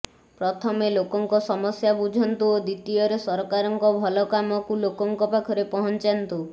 ପ୍ରଥମେ ଲୋକଙ୍କ ସମସ୍ୟା ବୁଝନ୍ତୁ ଓ ଦ୍ବିତୀୟରେ ସରକାରଙ୍କ ଭଲ କାମକୁ ଲୋକଙ୍କ ପାଖରେ ପହଞ୍ଚାନ୍ତୁ